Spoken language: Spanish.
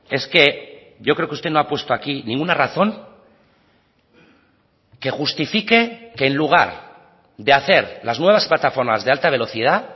es que yo creo que usted no ha puesto aquí ninguna razón que justifique que en lugar de hacer las nuevas plataformas de alta velocidad